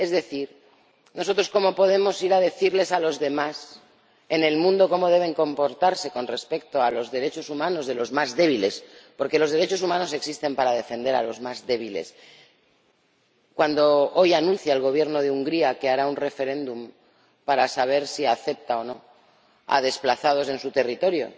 Es decir, nosotros ¿cómo podemos ir a decirles a los demás en el mundo cómo deben comportarse con respecto a los derechos humanos de los más débiles —porque los derechos humanos existen para defender a los más débiles— cuando hoy anuncia el Gobierno de Hungría que hará un referéndum para saber si acepta o no a desplazados en su territorio?